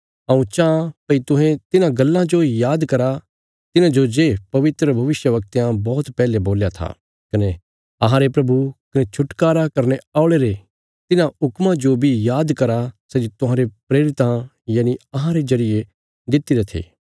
हऊँ चांह भई तुहें तिन्हां गल्लां जो याद करा तिन्हांजो जे पवित्र भविष्यवक्तयां बौहत पैहले बोल्या था कने अहांरे प्रभु कने छुटकारा करने औल़े रे तिन्हां हुक्मां जो बी याद करा सै जे तुहांरे प्रेरितां यनि अहांरे जरिये दित्तिरे थे